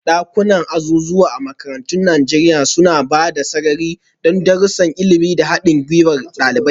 Dakunan azuzuwa a makarantun Najeriya suna ba da sarari don darussan ilimi da haɗin gwiwar ɗalibai.